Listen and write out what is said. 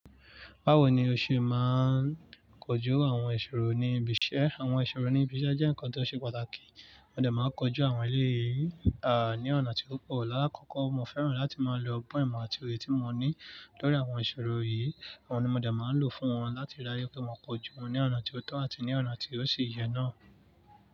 Báwo ni o ṣe máa ń kojú àwọn ìṣòro ní ibi iṣẹ́? Àwọn ìṣòro ní ibi iṣẹ́ jẹ́ nǹkan tó ṣe pàtàkì, mo dẹ̀ máa ń kojú àwọn èleyí, ní ọ̀nà tí ó pò. Lákọ̀ọ̀kọ́ mo fẹ́ràn láti máa lo ọgbọ́n ìmọ̀ àti òye tí mo ní lórí àwọn ìṣòro yìí. Oun ni mo dẹ̀ máa ń lò fún wọn láti rii dájú wipé mo kojú wọn ní ọ̀nà tí ó tọ́ àti ní ọ̀nà tí ó ṣi yẹ náà.